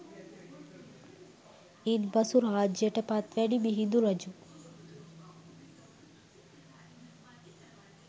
ඉන් පසු රාජ්‍යයට පත්වැනි මිහිඳු රජු